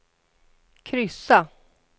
kryssa